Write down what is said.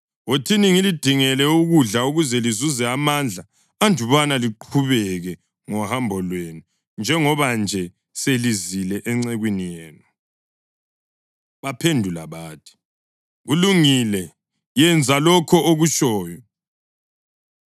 Wothini ngilidingele ukudla ukuze lizuze amandla andubana liqhubeke ngohambo lwenu njengoba nje selizile encekwini yenu.” Baphendula bathi, “Kulungile, yenza lokho okutshoyo.”